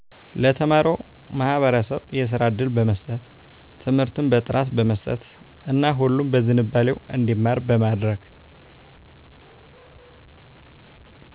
ለተማረው ማህበረሰብ የስራ እድል በመስጠት ትምርትን በጥራት በመስጠት እና ሁሉም በዝንባሌው እንዲማር በማድረግ